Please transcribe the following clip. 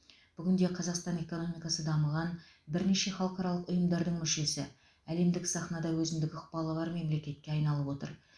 бүгін де қазақстан экономикасы дамыған бірнеше халықаралық ұйымдардың мүшесі әлемдік сахнада өзіндік ықпалы бар мемлекетке айналып отыр